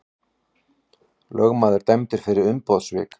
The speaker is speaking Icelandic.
Lögmaður dæmdur fyrir umboðssvik